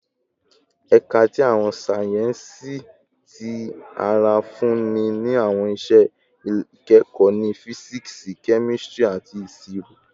Ẹka ti Awọn sáyẹnsì Ti ara nfunni ni awọn iṣẹ ikẹkọ ni Fisiksi, Kemistri, ati Iṣiro